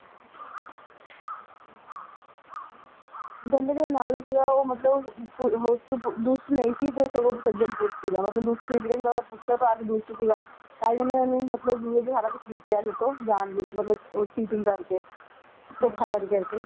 ਕਹਿੰਦੇ ਜਿਹੜਾ ਨਲ ਸੀਗਾ ਉਹ ਮਤਲਬ ਦੁਸ਼ਟ ਨਹੀਂ ਸੀ ਤੇ ਸਗੋਂ ਸੱਜਣ ਪੁਰਸ਼ ਸੀਗਾ ਮਤਲਬ ਦੁਸ਼ਟ ਨਹੀਂ ਸੀਗਾ ਜਿਹੜਾ ਉਹਦਾ ਪੁਸ਼ਕਰ ਭਰਾ ਸੀ ਦੁਸ਼ਟ ਸੀਗਾ, ਤਾਂਹੀ ਉਹਨੇ ਇਹਨੂੰ ਮਤਲਬ ਜੂਏ ਚ ਸਾਰਾ ਕੁੱਝ ਜਿੱਤ ਲਿਆ ਸੀ ਉਹਤੋਂ ਜਾਣਬੁੱਝ ਮਤਲਬ ਉਹ cheating ਕਰਕੇ ਧੋਖਾ ਕਰਕੇ